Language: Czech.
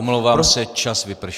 Omlouvám se, čas vypršel.